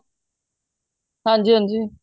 ਹਾਂਜੀ ਹਾਂਜੀ